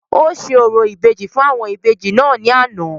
ó ṣe orò ìbejì fún àwọn Ìbejì náà ní àná